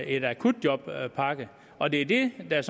en akutjobpakke og det er det der er